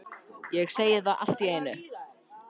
Ég segi það allt í einu